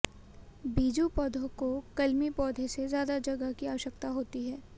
बीजू पौधों को कलमी पौधे से ज्यादा जगह की आवश्यकता होती है